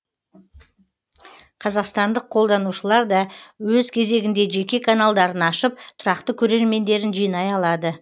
қазақстандық қолданушылар да өз кезегінде жеке каналдарын ашып тұрақты көрермендерін жинай алады